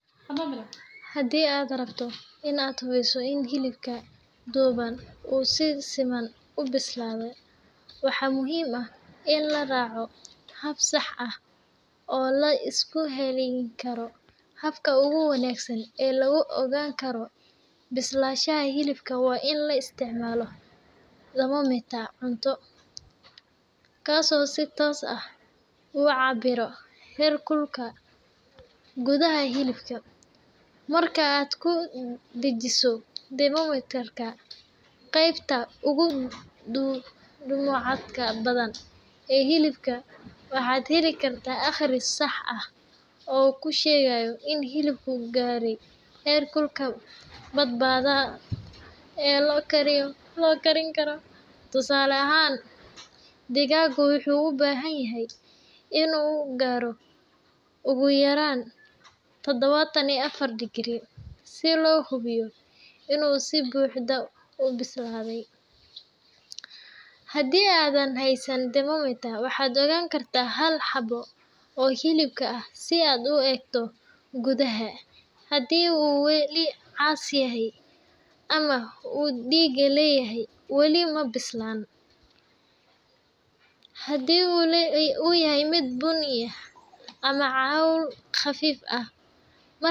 Haddii aad rabto in aad hubiso in hilibka duban uu si siman u bislaaday, waxaa muhiim ah in la raaco hab sax ah oo la isku halleyn karo. Habka ugu wanaagsan ee lagu ogaan karo bislaanshaha hilibka waa in la isticmaalo thermometer cunto, kaasoo si toos ah u cabbira heerkulka gudaha hilibka. Marka aad ku dhejiso thermometer-ka qaybta ugu dhumucda badan ee hilibka, waxaad heli kartaa akhris sax ah oo kuu sheegaya in hilibku gaaray heerkulka badbaadada ah ee la karin karo. Tusaale ahaan, digaagu wuxuu u baahan yahay in uu gaaro ugu yaraan Todobatan iyo afar herkulka si loo hubiyo in uu si buuxda u bislaaday. Haddii aadan haysan thermometer, waxaad goyn kartaa hal xabbo oo hilibka ah si aad u eegto gudaha. Haddii uu weli cas yahay ama uu dhiig leeyahay, weli ma bislaan; haddii uu yahay mid bunni ah ama cawl khafiif ah.